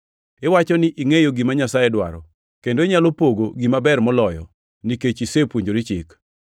Iwacho ni ingʼeyo gima Nyasaye dwaro, kendo inyalo pogo gima ber moloyo nikech isepuonjori chik.